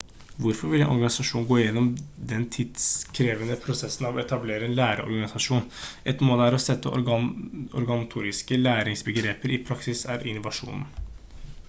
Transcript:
hvorfor vil en organisasjon gå gjennom den tidkrevende prosessen av å etablere en læreorganisasjon ett mål er å sette organisatoriske læringsbegreper i praksis er innovasjon